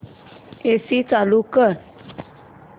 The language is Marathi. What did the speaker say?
एसी चालू कर